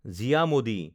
জিয়া মডি